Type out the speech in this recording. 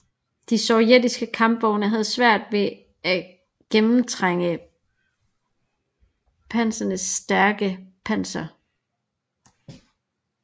De sovjetiske kampvogne havde svært ved at gennemtrænge Pantherens stærke panser